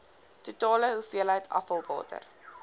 totale hoeveelheid afvalwater